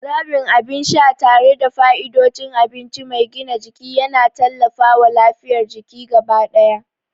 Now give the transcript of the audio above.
Zaɓin abin sha tare da fa'idodin abinci mai gina jiki yana tallafawa lafiyar jiki gaba ɗaya.